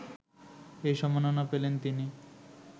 এই সম্মাননা পেলেন তিনি